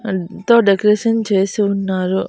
ఎంతో డెకరేషన్ చేసి ఉన్నారు.